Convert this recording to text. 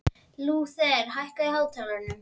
Lúther, hækkaðu í hátalaranum.